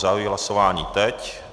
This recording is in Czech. Zahajuji hlasování teď.